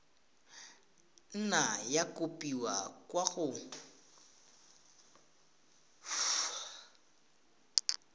nna ya kopiwa kwa go